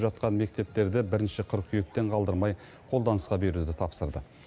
жатқан мектептерді бірінші қыркүйектен қалдырмай қолданысқа беруді тапсырды